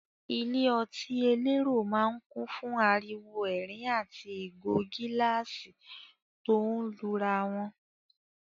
Ilé ọtí elérò máa ń kùn fún ariwo ẹ̀rín àti ìgò gíláàsì tó ń lura wọn.